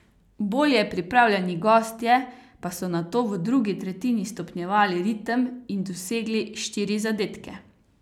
Bolje pripravljeni gostje pa so nato v drugi tretjini stopnjevali ritem in dosegli štiri zadetke.